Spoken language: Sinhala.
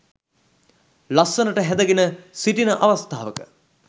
ලස්සනට හැඳ ගෙන සිටින අවස්ථාවක